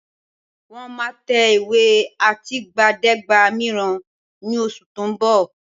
Wọ́n máa tẹ ìwé àtìgbàdégbà mìíràn ní oṣù tó ń bọ̀